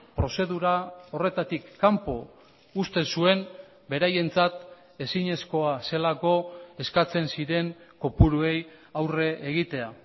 prozedura horretatik kanpo uzten zuen beraientzat ezinezkoa zelako eskatzen ziren kopuruei aurre egitea